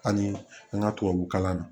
Ani an ka tubabu kalan na